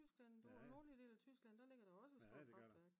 i Tyskland i den nordlige del af Tyskland der ligger der også et stort kraftværk